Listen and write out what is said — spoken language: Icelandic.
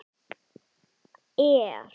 Áhersla stjórnarandstöðuflokka er önnur.